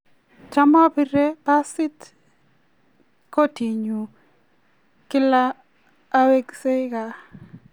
cham apire pasit kotinyu kila aweksei kaa